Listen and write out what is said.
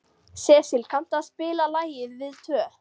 Sesil, kanntu að spila lagið „Við tvö“?